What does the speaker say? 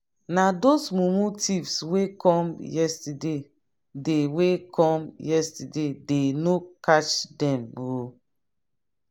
na those mumu thieves wey come yesterdaydey wey come yesterdaydey no catch dem. um